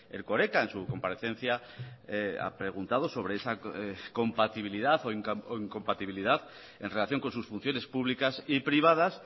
erkoreka en su comparecencia ha preguntado sobre esa compatibilidad o incompatibilidad en relación con sus funciones públicas y privadas